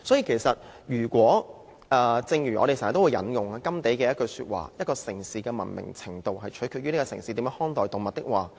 我們經常引用甘地的話：一個城市的文明程度，取決於這個城市是如何看待動物。